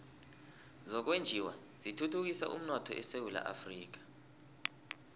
zokwenjiwa zithuthukisa umnotho esewula afrika